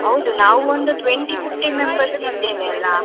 ಹೌದು, ನಾವು ಒಂದು twenty, fifteen members ಇದ್ದೇವೆ ಅಲ್ಲಾ?